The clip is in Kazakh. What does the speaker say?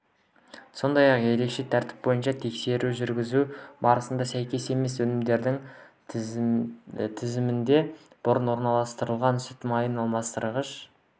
сондай-ақ ерекше тәртіп бойынша тексеру жүргізу барысында сәйкес емес өнімдер тізілімінде бұрын орналастырылған сүт майын алмастырғыш